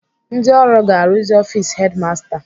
Ndị ọrụ ga-arụzi ọfis hedimasta